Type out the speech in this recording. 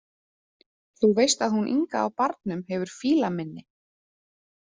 Þú veist að hún Inga á Barnum hefur fílaminni.